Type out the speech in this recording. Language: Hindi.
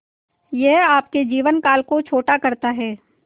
यह आपके जीवन काल को छोटा करता है